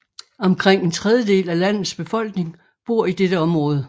Omkring en tredjedel af landets befolkning bor i dette område